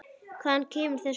Hvaðan kemur þessi hundur?